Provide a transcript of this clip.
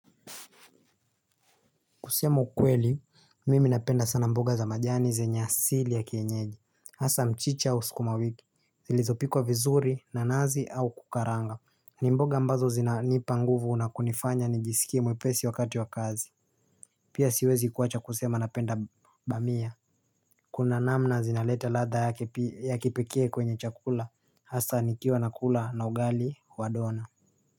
Kusema ukweli, mimi napenda sana mboga za majani zenye asili ya kienyeji asa mchicha au skuma wiki, zilizopi kwa vizuri, nanazi au kukaranga. Nimboga ambazo zina nipa nguvu unakunifanya nijisikie mwepesi wakati wa kazi. Pia siwezi kuwacha kusema napenda bamia. Kuna namna zinaleta ladha ya kipekee kwenye chakula. Hasa nikiwa nakula na ugali wa dona.